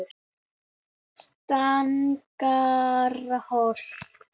Stangarholti